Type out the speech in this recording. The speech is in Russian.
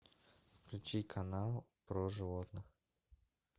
включи канал про животных